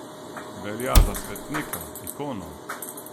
Velja za svetnika, ikono.